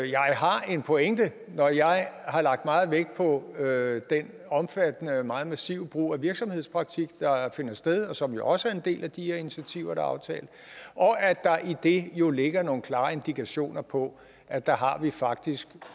jeg har en pointe når jeg har lagt meget vægt på den omfattende og meget massive brug af virksomhedspraktik der finder sted og som jo også er en del af de her initiativer er aftalt og at der i det jo ligger nogle klare indikationer på at der har vi faktisk